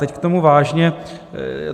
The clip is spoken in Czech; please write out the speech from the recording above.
Teď k tomu vážně.